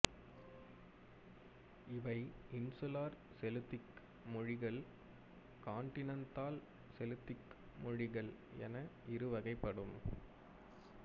இவை insular Celtic மொழிகள் continental Celtic மொழிகள் என இரு வகைப்படும்